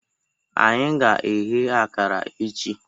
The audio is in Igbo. Anyị ga-eghe akara echi.